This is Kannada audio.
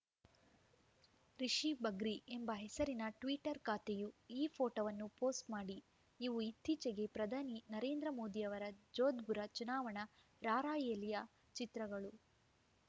ರಿಷಿ ಬಗ್ರೀ ಎಂಬ ಹೆಸರಿನ ಟ್ವೀಟರ್‌ ಖಾತೆಯು ಈ ಪೋಟೋವನ್ನು ಪೋಸ್ಟ್‌ ಮಾಡಿ ಇವು ಇತ್ತೀಚೆಗೆ ಪ್ರಧಾನಿ ನರೇಂದ್ರ ಮೋದಿಯವರ ಜೋದ್ಪುರ ಚುನಾವಣಾ ರಾರ‍ಯಲಿಯ ಚಿತ್ರಗಳು